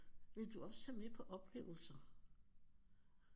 Ville du også tage med på oplevelser